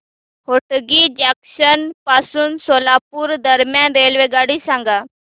Hotgi junction पासून सोलापूर दरम्यान रेल्वेगाडी सांगा